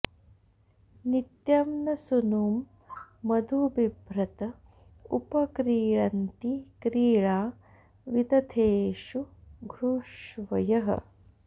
नित्यं॒ न सू॒नुं मधु॒ बिभ्र॑त॒ उप॒ क्रीळ॑न्ति क्री॒ळा वि॒दथे॑षु॒ घृष्व॑यः